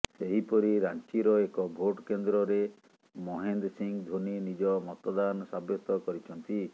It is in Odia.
ସେହିପରି ରାଞ୍ଚିର ଏକ ଭୋଟ କେନ୍ଦ୍ରରେ ମହେନ୍ଦ୍ ସିଂହ ଧୋନି ନିଜ ମତଦାନ ସାବ୍ୟସ୍ତ କରିଛନ୍ତି